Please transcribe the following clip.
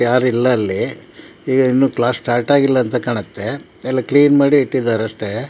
ಯಾರಿಲ್ಲ ಅಲ್ಲಿ ಇನ್ನು ಕ್ಲಾಸ್ ಸ್ಟಾರ್ಟ್ ಆಗಿಲ್ಲ ಅಂತ ಕಾಣುತ್ತೆ ಕ್ಲೀನ್ ಮಾಡಿ ಇಟ್ಟಿದ್ದಾರೆ ಅಷ್ಟೇ.